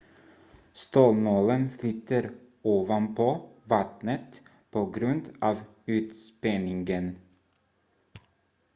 stålnålen flyter ovanpå vattnet på grund av ytspänningen